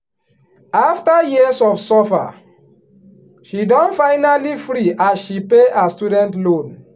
after years of suffer she don finally free as she pay her student loan